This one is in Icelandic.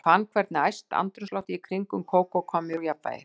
Ég fann hvernig æst andrúmsloftið í kringum Kókó kom mér úr jafnvægi.